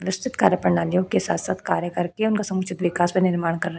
निश्चित कार्य प्रणालियों के साथ-साथ कार्य करके उनका समुचित विकास व निर्माण करना --